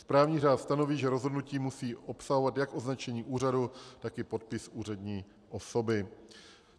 Správní řád stanoví, že rozhodnutí musí obsahovat jak označení úřadu, tak i podpis úřední osoby.